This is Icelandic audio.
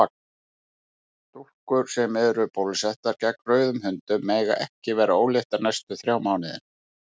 Stúlkur sem eru bólusettar gegn rauðum hundum mega ekki verða óléttar næstu þrjá mánuðina.